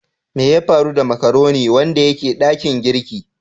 Mai ya faru da " macaroni " wanda yake dakin girki?